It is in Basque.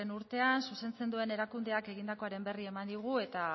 urtean zuzentzen duen erakundeak egindakoaren berri eman digu eta